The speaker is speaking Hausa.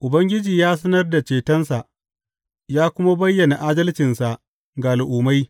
Ubangiji ya sanar da cetonsa ya kuma bayyana adalcinsa ga al’ummai.